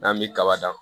N'an bi kaba dan